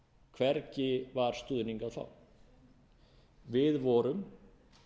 hvergi var stuðning að fá við vorum